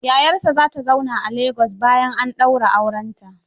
Yayarsa za ta zauna a Lagos bayan an daura aurenta.